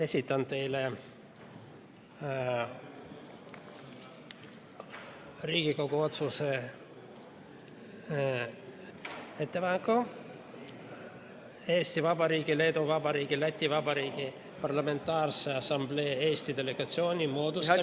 Esitan teile Riigikogu otsuse ettepaneku "Eesti Vabariigi, Leedu Vabariigi ja Läti Vabariigi Parlamentaarse Assamblee Eesti delegatsiooni moodustamine" ...